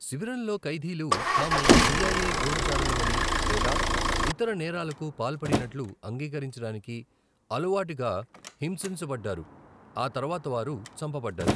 శిబిరంలోని ఖైదీలు, తాము సిఐఏ గూఢచారులమని లేదా ఇతర నేరాలకు పాల్పడినట్లు అంగీకరించడానికి, అలవాటుగా హింసించబడ్డారు, ఆ తర్వాత వారు చంపబడ్డారు.